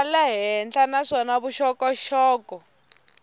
xa le henhla naswona vuxokoxoko